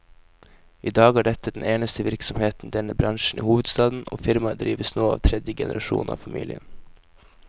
I dag er dette den eneste virksomheten i denne bransjen i hovedstaden, og firmaet drives nå av tredje generasjon av familien.